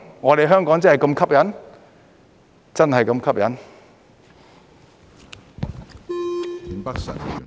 我們香港真的是那麼吸引？